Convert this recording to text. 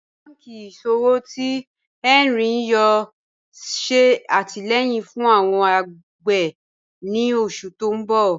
Awọn bànkí iṣọ̀wọ̀ tí Hẹnri yóò ṣè àtìlẹ̀yìn fún awọn agbè ni oṣù ti ǹ bọ̀